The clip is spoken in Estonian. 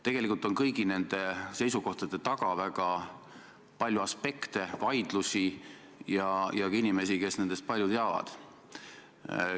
Tegelikult on kõigi nende seisukohtade taga väga palju aspekte, vaidlusi ja ka inimesi, kes nendest palju teavad.